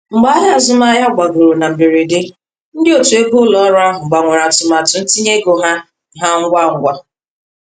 Mgbe ahịa azụmahịa gbagoro na mberede, ndị otu ego ụlọ ọrụ ahụ gbanwere atụmatụ ntinye ego ha ha ngwa ngwa.